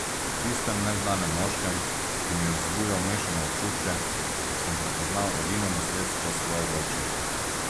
V tistem neznanem moškem, ki mi je vzbujal mešane občutke, sem prepoznal edino nasledstvo svojega očeta.